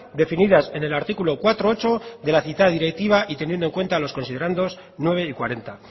definidas en el artículo cuatro punto ocho de la citada directiva y teniendo en cuenta los considerandos nueve y cuarenta